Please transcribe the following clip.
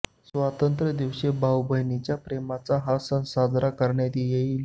स्वतंत्रता दिवशी भाऊ बहिणीच्या प्रेमाचा हा सण साजरा करण्यात येईल